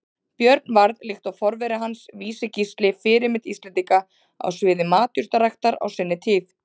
Björn varð, líkt og forveri hans Vísi-Gísli, fyrirmynd Íslendinga á sviði matjurtaræktar á sinni tíð.